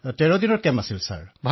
অখিলঃ মহাশয় এই শিবিৰ তেৰদিনীয়া আছিল